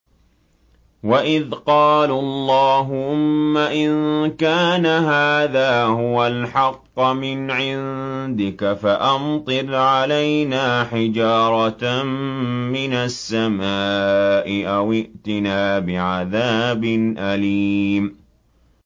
وَإِذْ قَالُوا اللَّهُمَّ إِن كَانَ هَٰذَا هُوَ الْحَقَّ مِنْ عِندِكَ فَأَمْطِرْ عَلَيْنَا حِجَارَةً مِّنَ السَّمَاءِ أَوِ ائْتِنَا بِعَذَابٍ أَلِيمٍ